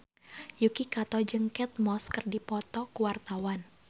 Yuki Kato jeung Kate Moss keur dipoto ku wartawan